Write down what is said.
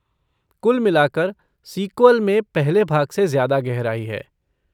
कुल मिलकर सीक्वल में पहले भाग से ज़्यादा गहराई है।